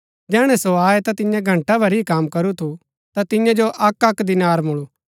जैहणै सो आये ता जिन्यैं घंटा भरी ही कम करू थु ता तियां जो अक्कअक्क दीनार मूळु